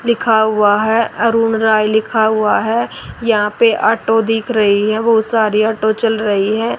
लिखा हुआ है अरुण राय लिखा हुआ है यहां पे ऑटो दिख रही है बहुत सारी ऑटो चल रही है।